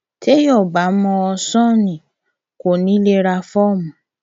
téèyàn ò bá mọ ṣọ́ọ̀nì kó lè ra fọọmù